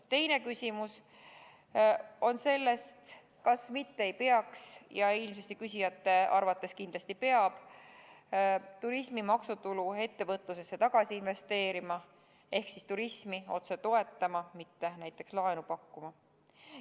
Teine küsimus on selle kohta, kas mitte ei peaks – ja küsijate arvates kindlasti peab – turismi maksutulu ettevõtlusesse tagasi investeerima ehk turismi otse toetama, mitte näiteks laenu pakkuma.